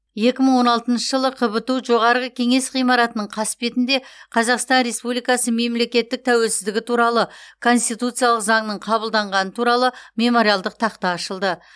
екі мың он алтыншы жылы қбту жоғарғы кеңес ғимаратының қасбетінде қазақстан республикасы мемлекеттік тәуелсіздігі туралы конституциялық заңның қабылданғаны туралы мемориалдық тақта ашылды